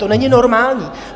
To není normální.